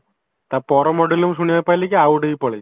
ତା ପର model ରେ ମୁଁ ଶୁଣିବାକୁ ପାଇଲି କି ଆଉ ଗୋଟେ ବି ପଳେଇଚି